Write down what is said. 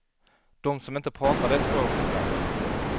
Dom som inte pratar det språket, ja.